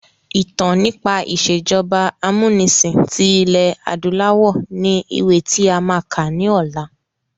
Ìtàn nípa ìsèjọba amúnisìn tí ilẹ̀ adúláwọ̀ ni ìwé tí a máa kà ni ọ̀la.